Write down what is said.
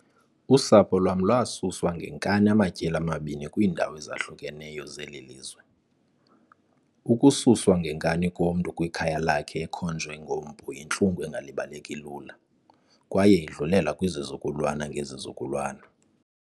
Usapho lwam lwasuswa ngenkani amatyeli amabini kwiindawo ezahlukeneyo zeli lizwe. Ukususwa ngenkani komntu kwikhaya lakhe ekhonjwe ngompu yintlungu engalibaleki lula, kwaye idlulela kwizizukulwana ngezizukulwana.